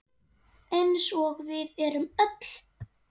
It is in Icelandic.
Eins og við erum öll.